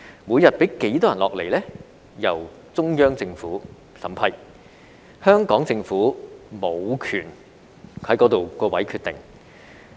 每天讓多少人來港由中央政府審批，就此香港政府無權決定。